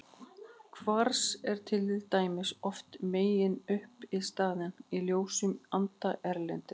Kvars er til dæmis oft meginuppistaðan í ljósum sandi erlendis.